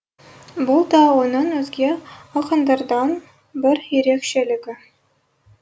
бұл да оның өзге ақындардан бір ерекшелігі